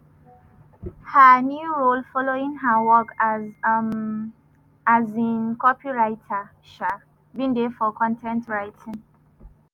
her new role following her work as um as um copywriter um bin dey for con ten t writing.